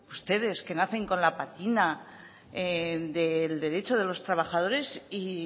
ustedes que nacen con la patina del derecho de los trabajadores y